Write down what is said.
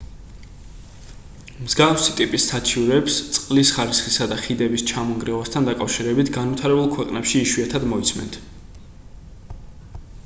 მსგავსი ტიპის საჩივრებს წყლის ხარისხისა და ხიდების ჩამონგრევასთან დაკავშირებით განვითარებულ ქვეყნებში იშვიათად მოისმენთ